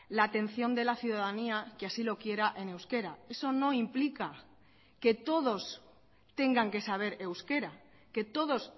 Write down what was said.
la atención de la ciudadanía que así lo quiera en euskera eso no implica que todos tengan que saber euskera que todos